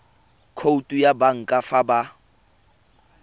khoutu ya banka fa ba